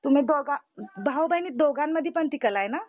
तुम्ही दोघा, भाऊ बहिणी दोघांमधी ती कलाये ना?